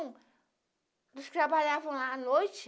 Eles trabalhavam lá à noite.